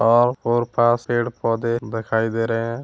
और पेड़ पौधे दिखाई दे रहे है।